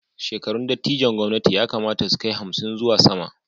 Shekarun dattijon gwamnati ya kamata su kai hamsin zuwa sama